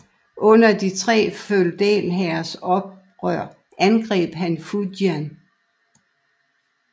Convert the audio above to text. Under de tre feudalherrers oprør angreb han Fujian